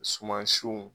Suman siw